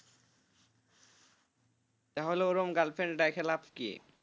তাহলে ওরকম girl friend রেখে লাভ কি.